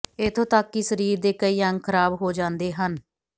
ਇਥੋਂ ਤਕ ਕਿ ਸਰੀਰ ਦੇ ਕਈ ਅੰਗ ਖ਼ਰਾਬ ਹੋ ਜਾਂਦੇ ਹਨ